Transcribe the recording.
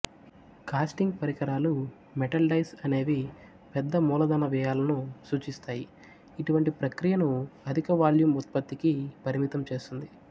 casting పరికరాలు metal dies అనేవి పెద్ద మూలధన వ్యయాలను సూచిస్తాయి ఇటువంటి ప్రక్రియను అధికవాల్యూమ్ ఉత్పత్తికి పరిమితం చేస్తుంది